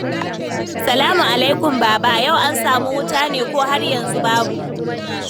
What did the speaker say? Salamu alaikum, Baba. Yau an samu wuta ne ko har yanzu babu?